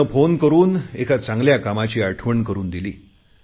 त्याने फोन करुन मला एका चांगल्या कामाची आठवण करुन दिली